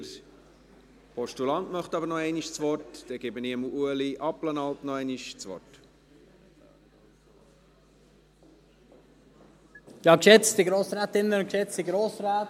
Der Postulant möchte aber noch einmal das Wort, dann gebe ich Ueli Abplanalp noch einmal das Wort.